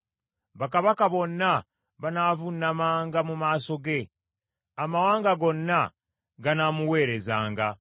Bakabaka bonna banaavuunamanga mu maaso ge; amawanga gonna ganaamuweerezanga.